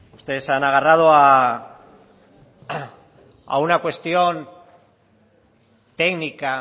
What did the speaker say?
ustedes se han agarrado a una cuestión técnica